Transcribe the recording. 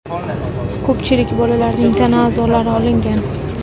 Ko‘pchilik bolalarning tana a’zolari olingan.